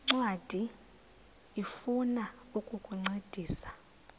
ncwadi ifuna ukukuncedisa